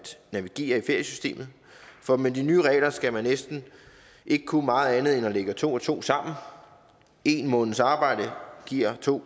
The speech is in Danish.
navigere i feriesystemet for med de nye regler skal man næsten ikke kunne meget andet end at lægge to og to sammen en måneds arbejde giver to